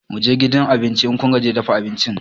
Mu je gidan abinci, Idan kun gaji da dafa abinci.